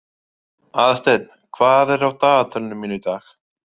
Aðalsteinn, hvað er á dagatalinu mínu í dag?